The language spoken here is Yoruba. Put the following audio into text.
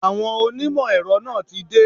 Àwọn onímọ̀ èrọ náà tí dé.